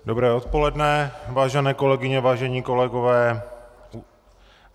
Dobré odpoledne, vážené kolegyně, vážení kolegové.